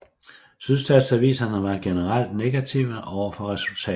Sydstatsaviserne var generelt negative overfor resultatet